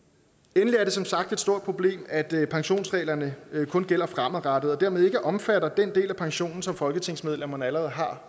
endelig er det som sagt et stort problem at pensionsreglerne kun gælder fremadrettet og dermed ikke omfatter den del af pensionen som folketingsmedlemmerne allerede har